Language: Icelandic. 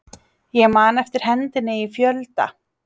Ég man eftir hendinni í fjölda